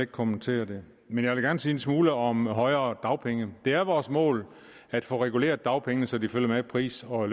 kommentere det men jeg vil gerne sige en smule om højere dagpenge det er vores mål at få reguleret dagpengene så de følger pris og